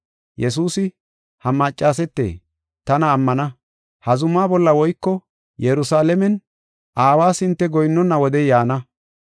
Yesuusi, “Ha maccasete tana ammana; ha zumaa bolla woyko Yerusalaamen Aawas hinte goyinnona wodey yaana.